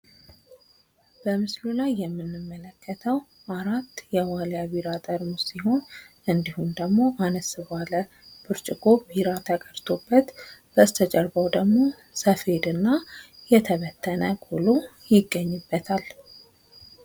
በምስሉ ላይ የምንመለከተው አራት የዋሊያ ቢራ ጠርሙስ እንድሁም ደግሞ አነስ ብርጭቆ ቢራ ተቀድቶበት በስተጀርባው ደግሞ ሰፌድና የተበተነ ቆሎ ይገኝበታል።